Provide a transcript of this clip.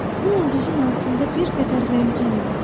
Bu ulduzun altında bir qədər ləngiyin.